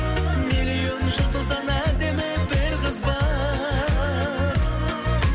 миллион жұлдыздан әдемі бір қыз бар